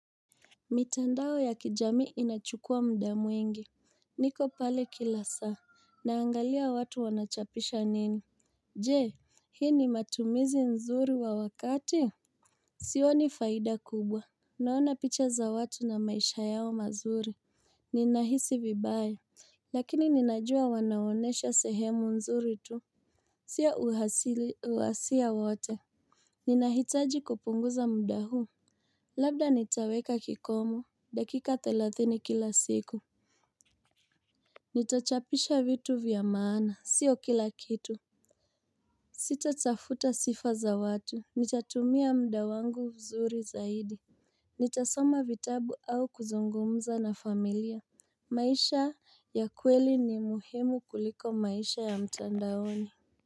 Mitandao ya kijamii inachukua mda mwingi niko pale kila saa Naangalia watu wanachapisha nini Je hii ni matumizi nzuri wa wakati Sioni faida kubwa Naona picha za watu na maisha yao mazuri Ninahisi vibaya Lakini ninajua wanaonyesha sehemu nzuri tu Si ya uhasia wote Ninahitaji kupunguza mda huu Labda nitaweka kikomo dakika thelathini kila siku Nitachapisha vitu vya maana, sio kila kitu Sita tafuta sifa za watu Nitatumia mda wangu vizuri zaidi Nitasoma vitabu au kuzungumza na familia maisha ya kweli ni muhimu kuliko maisha ya mtandaoni.